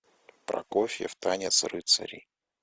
прокофьев танец рыцарей